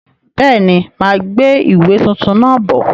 Bẹ́ẹ̀ni, máa gbé ìwé tuntun náà bọ̀.